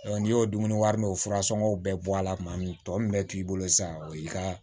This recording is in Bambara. n'i y'o dumuni wari min o furasɔngɔw bɛɛ bɔ a la tuma min tɔ min bɛ k'i bolo sisan o y'i ka